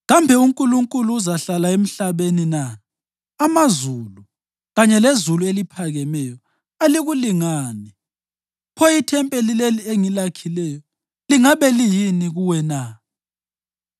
Kambe uNkulunkulu uzahlala emhlabeni na? Amazulu, kanye lezulu eliphakemeyo, alikulingani. Pho ithempeli leli engilakhileyo lingabe liyini kuwe na!